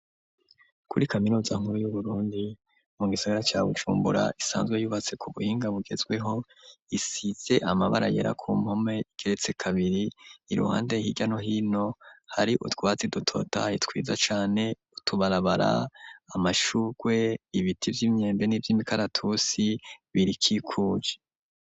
Kuri kaminuza nkuru y'uburundi mu gisagara cya gucumbura isanzwe yubatse ku buhinga bugezweho isize amabara yera ku mpome igeretse kabiri iruhande hirya no hino hari utwazi dutotahaye twiza cane utubarabara amashurwe ibiti vy'imyembe n' ivy imikaratusi birikikuj